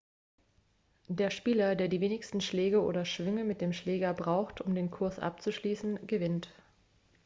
der spieler der die wenigsten schläge oder schwünge mit dem schläger braucht um den kurs abzuschließen gewinnt